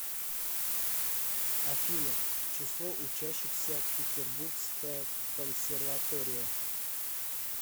афина число учащихся петербургская консерватория